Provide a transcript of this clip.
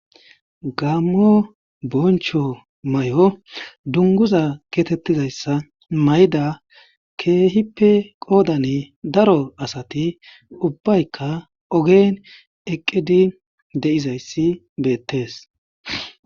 Gamo boncho may7o dunguza keetettizayssa mayda keehippe qoodani daro asati ubbaykka ogen eqqidi de7izayssi beettees